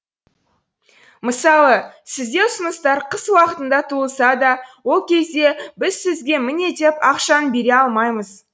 мысалы сізде ұсыныстар қыс уақытында туылса да ол кезде біз сізге міне деп ақшаны бере алмаймыз